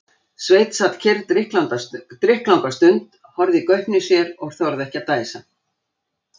Sveinn sat kyrr drykklanga stund, horfði í gaupnir sér og þorði ekki að dæsa.